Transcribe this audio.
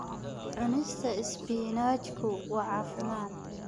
Cunista isbinaajku waa caafimaad.